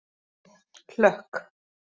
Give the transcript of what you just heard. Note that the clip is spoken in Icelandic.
Hlökk